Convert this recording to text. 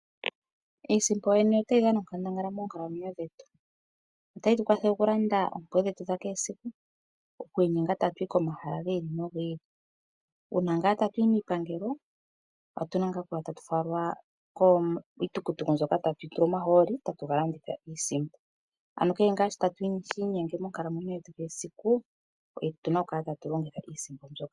Iisimpo yoyene otayi dhana onkandangala moonkalamwenyo dhetu. Otayi tu kwathele oku landa oompumbwe dhetu dha kehe esiku, oku inyenga tatu yi komahala gi ili nogi ili. Uuna ngaa tatu yi miipangelo otuna ngaa oku ya tatu falwa kiitukutuku mbyoka tatu tula mo omahooli tatu ga landitha iisimpo. Ano kehe ngaa shi tashi inyenge monkalamwenyo dhetu dhesiku otuna oku kala tatu longitha iisimpo mbyoka.